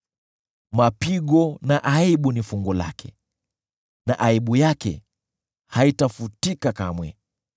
Mapigo na aibu ni fungu lake na aibu yake haitafutika kamwe;